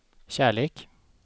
kärlek